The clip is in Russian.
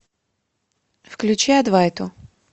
включи адвайту